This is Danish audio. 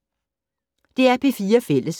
DR P4 Fælles